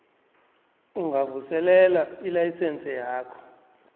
ungavuselela ilayisense yakho